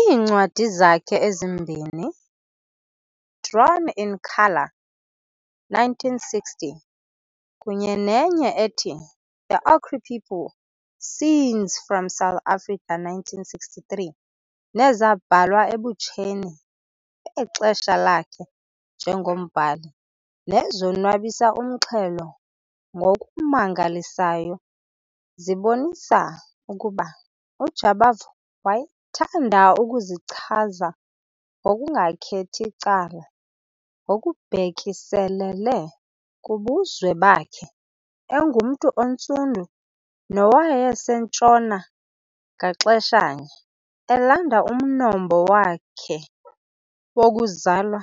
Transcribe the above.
Iincwadi zakhe ezimbini, Drawn in Colour, 1960, kunye nenye ethi The Ochre People - Scenes from South Africa, 1963, nezabhalwa ebutsheni bexesha lakhe njengombhali, nezonwabisa umxhelo ngokumangalisayo, zibonisa ukuba uJabavu wayethanda ukuzichaza ngokungakhethi cala ngokubhekiselele kubuzwe bakhe - engumntu oNtsundu nowaseNtshona ngaxesha nye, elanda umnombo wakhe wokuzalwa